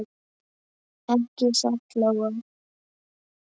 Ekki satt, Lóa?